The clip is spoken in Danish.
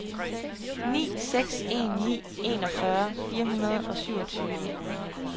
ni seks en ni enogfyrre fire hundrede og syvogtyve